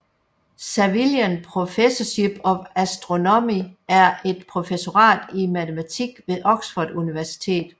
Savilian Professorship of Astronomy er et professorat i matematik ved Oxfords Universitet